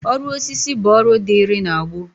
Ọrụ osisi bụ ọrụ dịịrị na gboo